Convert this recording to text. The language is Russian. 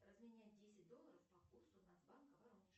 разменять десять долларов по курсу нацбанка воронеж